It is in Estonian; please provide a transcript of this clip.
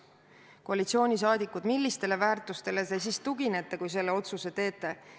Koalitsiooni liikmed, millistele väärtustele te siis tuginete, kui selle otsuse teete?